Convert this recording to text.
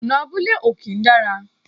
Ọ̀nà abúlé ò kí ń dára